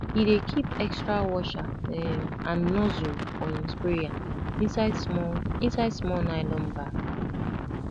he dey keep extra washer um and nozzle for him sprayer inside small inside small nylon bag